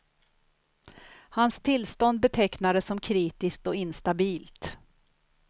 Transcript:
Hans tillstånd betecknades som kritiskt och instabilt.